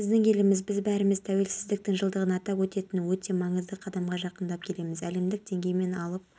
күшейеді күндіз екпіні секундына метр болады қарағанды қызылорда қостанай ақтөбе облыстарының кей жерлерінде желдің жылдамдығы